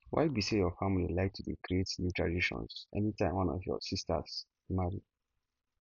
why be say your family like to dey create new traditions any time one of your sistas marry